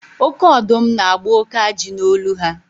Oke ọdụm na-agba oke ajị n'olu ha.